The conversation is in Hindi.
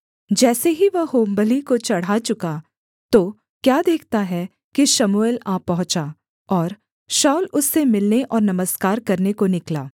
जैसे ही वह होमबलि को चढ़ा चुका तो क्या देखता है कि शमूएल आ पहुँचा और शाऊल उससे मिलने और नमस्कार करने को निकला